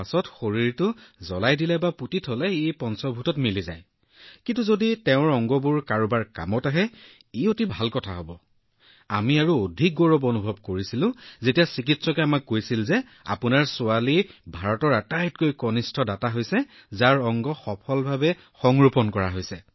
যেতিয়া কোনোবাই চিৰদিনৰ বাবে পৃথক হৈ যায় আৰু আঁতৰি যায় তেওঁৰ শৰীৰটো জ্বলাই দিয়া হয় বা সমাধিস্থ কৰা হয় কিন্তু যদি তেওঁৰ অংগবোৰ কাৰোবাৰ বাবে উপযোগী হয় তেন্তে এইটো এটা ভাল কাম আৰু আমি সেই সময়ত অধিক গৌৰৱ অনুভৱ কৰিছিলো যেতিয়া চিকিৎসকে আমাক কৈছিল যে আপোনাৰ ছোৱালী ভাৰতৰ আটাইতকৈ কনিষ্ঠ দাতা হিচাপে পৰিচিত হৈছে যাৰ অংগবোৰ সফলতাৰে সংৰোপণ কৰা হৈছে